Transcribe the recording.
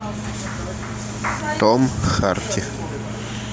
том харди